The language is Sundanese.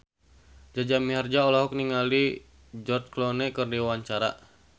Jaja Mihardja olohok ningali George Clooney keur diwawancara